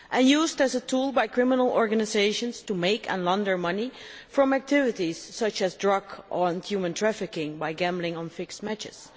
It is used as a tool by criminal organisations to make and launder money from activities such as drug or human trafficking by gambling on fixed matches.